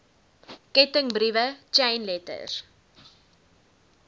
kettingbriewe chain letters